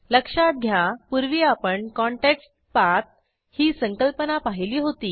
लक्षात घ्या पूर्वी आपणContextPath ही संकल्पना पाहिली होती